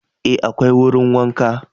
Ee, akwai wurin wanka